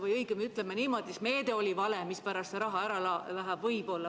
Või õigemini, ütleme niimoodi, et meede oli vale, mispärast see raha ära võetakse.